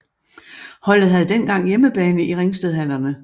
Holdet havde dengang hjemmebane i Ringstedhallerne